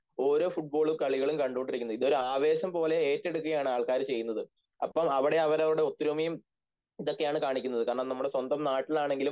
ഓരോ ഫുട്‍ബോളും കളികളും കണ്ടുകൊണ്ടിരിക്കുന്നത് ഇതൊരു ആവേശംപോലെ ഏറ്റെടുക്കുകയാണ് ആൾക്കാർ ചെയ്യുന്നത് അപ്പോൾ അവിടെ അവരുടെ ഒത്തൊരുമയും ഇതൊക്കെയാണ് കാണിക്കുന്നത് കാരണം നമ്മുടെ സ്വന്തം നാട്ടിലാണെങ്കിലും